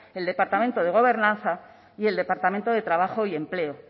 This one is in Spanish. el departamento de gobernanza y el departamento de trabajo y empleo